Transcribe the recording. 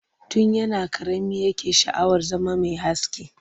Tun yana ƙarami yake sha'awar zama mai aski